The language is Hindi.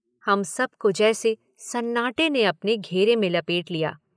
हम सब को जैसे सन्नाटे ने अपने घेरे में लपेट लिया।